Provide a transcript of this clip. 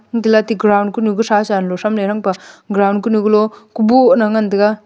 antolale aate ground kunu ga thasha thamle ganpa ground kunu golo kuboh la ngantaga.